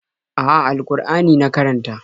A'a, al-Ƙur'ani na karanta.